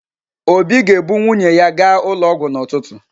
Obi ga-ebu nwunye ya gaa ụlọ ọgwụ n’ụtụtụ.